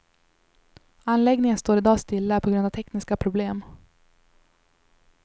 Anläggningen står i dag stilla på grund av tekniska problem.